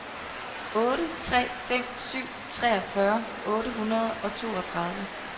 otte tre fem syv treogfyrre otte hundrede og toogtredive